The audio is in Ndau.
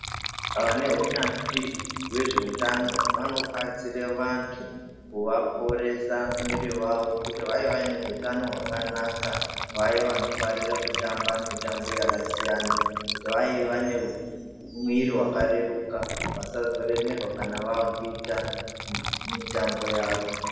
Vane unyanzvi hwe zveutano vano batsira vantu kuva poresa mwiri vavo kuti vave vane hutano hwakanaka vaya vano farira kutamba mutambo yaka siyana kuti vave vane mwiri waka reruka vasazo remerwa kana vakuita mitambo yavo.